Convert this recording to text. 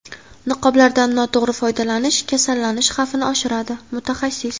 Niqoblardan noto‘g‘ri foydalanish kasallanish xavfini oshiradi – mutaxassis.